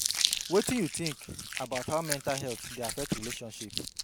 wetin you think about how mental health dey affect relationships?